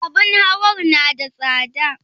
Abun hawar na da tsada?